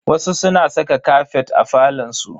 Wasu suna saka kafet a falon su.